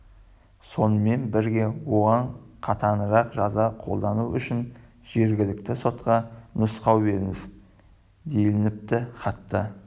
сонымен бірге оған қатаңырақ жаза қолдану үшін жергілікті сотқа нұсқау беріңіз делініпті хатта